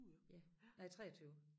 Ja nej 23